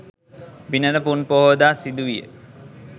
බිනර පුන් පොහෝදා සිදු විය